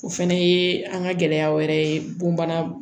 O fɛnɛ ye an ka gɛlɛya wɛrɛ ye bon bana